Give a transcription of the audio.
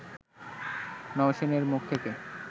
নওশীনের মুখ থেকে